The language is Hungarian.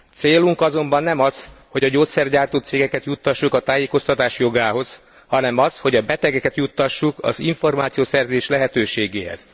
Célunk azonban nem az, hogy a gyógyszergyártó cégeket juttassuk a tájékoztatás jogához, hanem az, hogy a betegeket juttassuk az információszerzés lehetőségéhez.